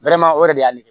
o de y'ale kɛ